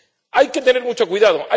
Hay que tener mucho cuidado.